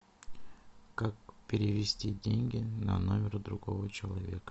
как перевести деньги на номер другого человека